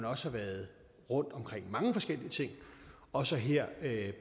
også været rundt omkring mange forskellige ting også her